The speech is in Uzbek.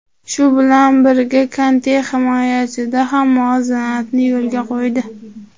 Shu bilan birga Konte himoyada ham muvozanatni yo‘lga qo‘ydi.